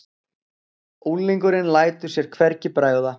Unglingurinn lætur sér hvergi bregða.